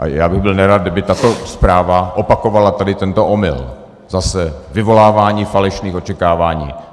A já bych byl nerad, kdyby tato zpráva opakovala tady tento omyl, zase vyvolávání falešných očekávání.